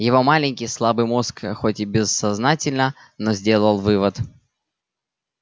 его маленький слабый мозг хоть и бессознательно но сделал вывод